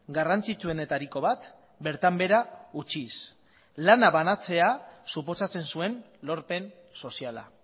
garrantzitsuenetariko bat bertan behera utziz lana banatzea suposatzen zuen lorpen soziala